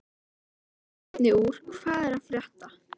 Eldra efni úr Hvað er að frétta?